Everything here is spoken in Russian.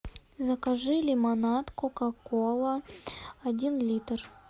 закажи лимонад кока кола один литр